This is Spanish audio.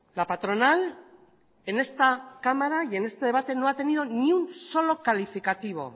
la patronal en esta cámara y en este debate no ha tenido ningún solo calificativo